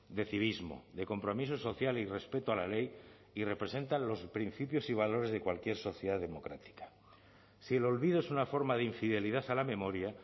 de civismo de compromiso social y respeto a la ley y representan los principios y valores de cualquier sociedad democrática si el olvido es una forma de infidelidad a la memoria